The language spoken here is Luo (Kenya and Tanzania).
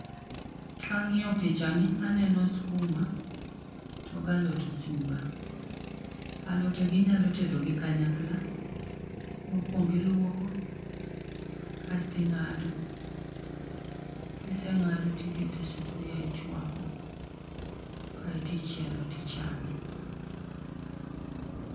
Kang'iyo picha ni aneno skuma, to gi alot osuga. Alote gi inyalo tedo gi kanyakla. Mokuongo iluoko, kasto ing'ado. Kiseng'ado tiketo e sufria ichwako, kaeto ichielo tichame.